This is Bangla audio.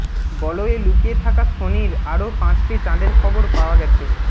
বলয়ে লুকিয়ে থাকা শনির আরও পাঁচটি চাঁদের খবর পাওয়া গেছে